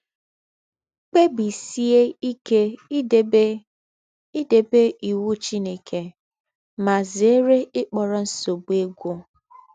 Kpẹ́bísíè íké ídèbé ídèbé íwụ́ Chínèké, mà zèrè íkpọ̀rọ̀ nsọ̀bụ̀ égwụ̀.